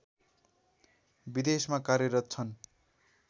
विदेशमा कार्यरत छन्